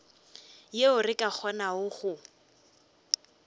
yeo re ka kgonago go